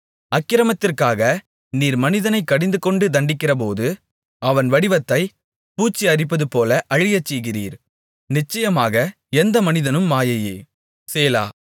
அக்கிரமத்திற்காக நீர் மனிதனைக் கடிந்துகொண்டு தண்டிக்கிறபோது அவன் வடிவத்தைப் பூச்சி அரிப்பதுபோல அழியச்செய்கிறீர் நிச்சயமாக எந்த மனிதனும் மாயையே சேலா